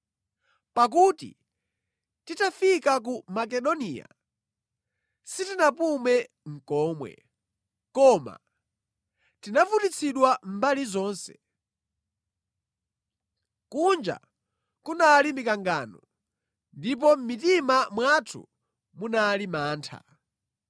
Pakuti titafika ku Makedoniya, sitinapume nʼkomwe, koma tinavutitsidwa mbali zonse. Kunja kunali mikangano, ndipo mʼmitima mwathu munali mantha.